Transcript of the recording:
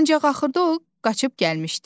Ancaq axırda o qaçıb gəlmişdi.